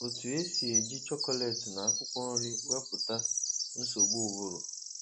Otu esi eji chocolate na akwụkwọ nri wepụ nsogbu ụbụrụ